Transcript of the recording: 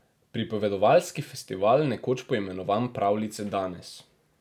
Pripovedovalski festival, nekoč poimenovan Pravljice danes.